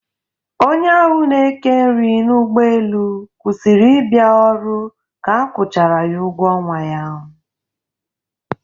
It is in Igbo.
Onye ahụ n'eke nri n'ụgbọelu kwụsịrị ịbịa ọrụ ka a kwụchara ya ụgwọ ọnwa ya.